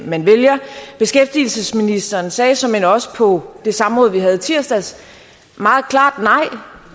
man vælger beskæftigelsesministeren sagde såmænd også på det samråd vi havde i tirsdags meget klart nej